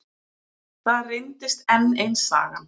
Það reyndist enn ein sagan.